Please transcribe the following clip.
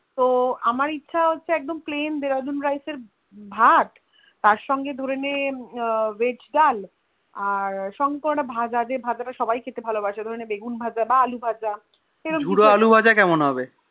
তো আমার ইচ্ছা একদম Plain dehradun rice এর ভাত তার সঙ্গে ধরেন Veg ডাল তার সঙ্গে কোনো একটা ভাজা যে ভাজা এ সত্যি খেতে ভালো বাসে ধরেন বেগুন ভাজা বা আলু ভাজা এরম ধরণের